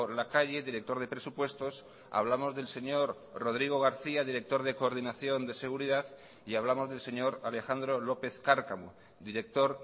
lacalle director de presupuestos hablamos del señor rodrigo garcía director de coordinación de seguridad y hablamos del señor alejandro lópez cárcamo director